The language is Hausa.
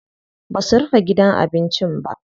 Basu rufe gidan abincin ba.